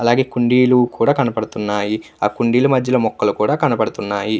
అలాగే కుండీలు కనపడుతున్నాయి అలాగే కుండీల మధ్యలో మొక్కలు కనపడుతున్నాయి.